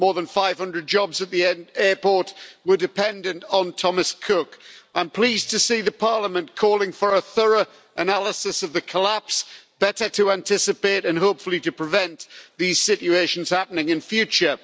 More than 500 jobs at the airport were dependent on Thomas Cook. I'm pleased to see the Parliament calling for a thorough analysis of the collapse, better to anticipate and hopefully to prevent these situations happening in future.